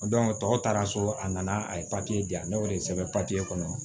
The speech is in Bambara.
tɔw taara so a nana a ye papiye di yan ne y'o de sɛbɛn papiye kɔnɔ